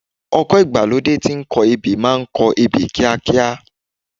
Ọkọ̀ ìgbàlódé tí ń kọ ebè máa kọ ebè kíákíá.